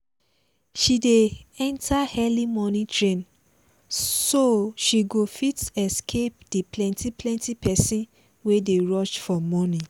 she dey enter early morning train so she go fit escape the plenty plenty pesin wey dey rush for morning